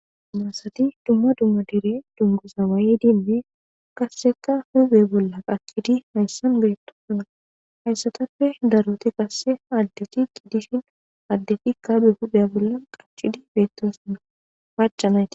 Naasati dumma dumma dire dunguzawaayi dimme qasseka hube bolla qakidi hayssan beetto suna hayssatappe daroti qasse addeti qiddishin addefikka be huda bolla qachidi beettosina paca nayti.